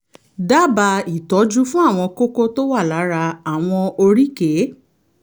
dábàá ìtọ́jú fún àwọn kókó tó wà lára àwọn oríkèé